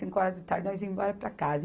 Cinco horas da tarde nós íamos embora para casa.